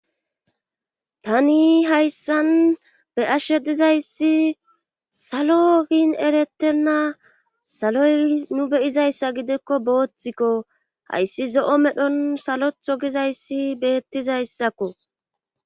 Tani hayssan be ashe dizayssi salo bin eretenna saloy nu beyizayssa gidikko booththikko hayssi zo'o medhon salotho gizayssi beettizayssakko.